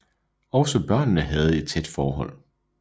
Også børnene havde et tæt forhold